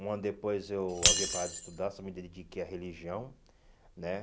Um ano depois eu havia parado de estudar, só me dediquei à religião, né?